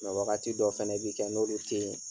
wagati dɔ fɛnɛ bɛ kɛ n'olu tɛ yi